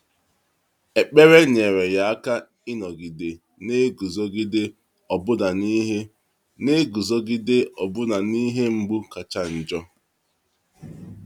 Ekpere nyere ya aka ịnọgide na-eguzogide ọbụna n’ihe na-eguzogide ọbụna n’ihe mgbu kacha njọ.